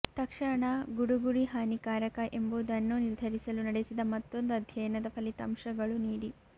ತಕ್ಷಣ ಗುಡುಗುಡಿ ಹಾನಿಕಾರಕ ಎಂಬುದನ್ನು ನಿರ್ಧರಿಸಲು ನಡೆಸಿದ ಮತ್ತೊಂದು ಅಧ್ಯಯನದ ಫಲಿತಾಂಶಗಳು ನೀಡಿ